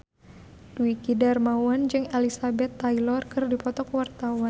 Dwiki Darmawan jeung Elizabeth Taylor keur dipoto ku wartawan